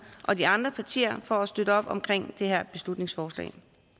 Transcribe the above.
og de andre partier for at støtte op omkring det her beslutningsforslag